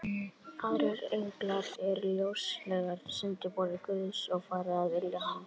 Aðrir englar eru ljósenglar, sendiboðar Guðs, sem fara að vilja hans.